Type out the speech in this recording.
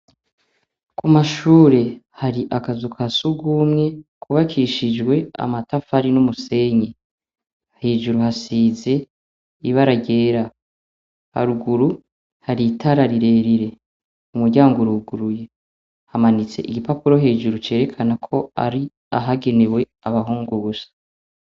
Ku mashure hari akazu ka surwumwe kubakishije amatafari n'umusenyi. Hejuru hasize ibara ryera, haruguru hari itara rirerire. Umuryango uruguruye, hamanitse igipapuro hejuru cerekana ko ari ahagenewe abahungu gusa.